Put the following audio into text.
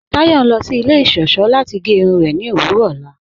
Táyọ̀ ń lọ sí ilẹ̀ iṣọ́ṣọ̀ láti gẹ́ irun rẹ̀ ní òwurọ̀ ọlá.